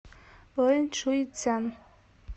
лэншуйцзян